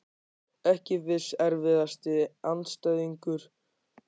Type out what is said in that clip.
Ekki viss Erfiðasti andstæðingur?